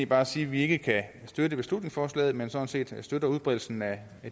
bare sige at vi ikke kan støtte beslutningsforslaget men sådan set støtter udbredelsen af